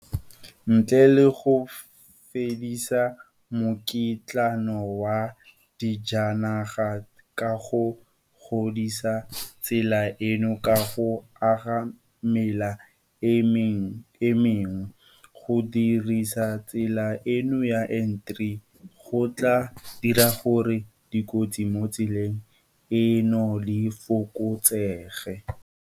Ntle le go fedisa mokitlano wa dijanaga ka go godisa tsela eno ka go aga mela e mengwe, go godisa tsela eno ya N3 go tla dira gore dikotsi mo tseleng eno di fokotsege.